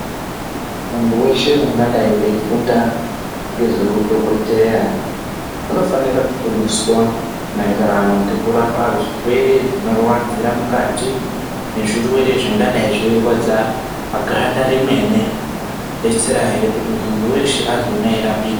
Muntu weshe ungadai weifunda ngezveudhokodheya unofanira kufundiswa mayererano nekurapa zvirwere zvinorwadzira mukati nezvirwere zvingadai zveirwadza muganda remene kuti muntu weshe azooneka eirapika.